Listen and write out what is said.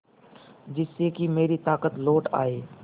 जिससे कि मेरी ताकत लौट आये